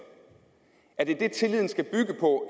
er det tilliden skal bygge på